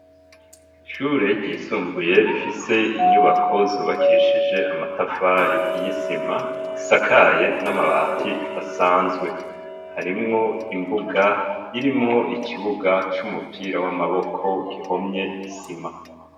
Ishure ryisumbuye rifise inyubako zubakishije amatafari y'isima isakaye n'amabati asanzwe harimwo imbuga irimwo ikibuga c'umupira w'amaboko gihomye isima.